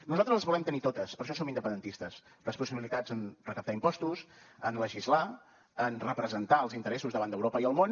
nosaltres les volem tenir totes per això som independentistes responsabilitats en recaptar impostos en legislar en representar els interessos davant d’europa i el món